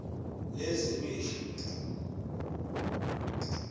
lezemihla